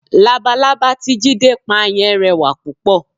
Labalábá tí Jídé pa yẹn rẹwà púpọ̀.